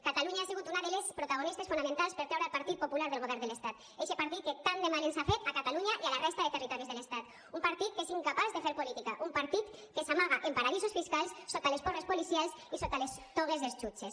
catalunya ha sigut una de les protagonistes fonamentals per treure el partit popular del govern de l’estat eixe partit que tant mal ens ha fet a catalunya i a la resta de territoris de l’estat un partit que és incapaç de fer política un partit que s’amaga en paradisos fiscals sota les porres policials i sota les togues dels jutges